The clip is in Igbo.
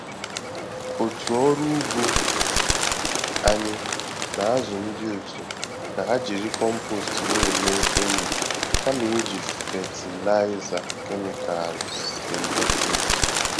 Otu ọrụ ugbo anyị na-azụ ndị otu ka ha jiri compost na-eme enyi kama iji fatịlaịza kemịkalụ sịntetik.